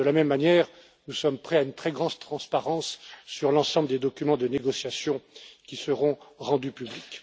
De la même manière, nous sommes prêts à une très grande transparence sur l'ensemble des documents de négociations, qui seront rendus publics.